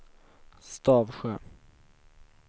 Stavsjö